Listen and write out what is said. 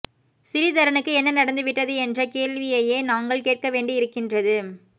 சிறீதரனுக்கு என்ன நடந்து விட்டது என்ற கேள்வியையே நாங்கள் கேட்கவேண்டியிருக்கின்றது